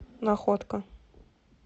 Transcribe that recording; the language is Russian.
находка